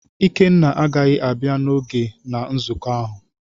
Ikenna agaghị abia n’oge na nzụkọ ahụ.